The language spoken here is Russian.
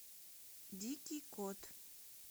дикий кот